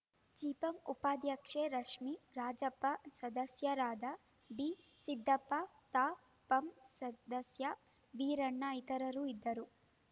ಜಿಪಂ ಉಪಾಧ್ಯಕ್ಷೆ ರಶ್ಮಿರಾಜಪ್ಪ ಸದಸ್ಯರಾದ ಡಿಸಿದ್ದಪ್ಪ ತಾಪಂ ಸದಸ್ಯ ವೀರಣ್ಣ ಇತರರು ಇದ್ದರು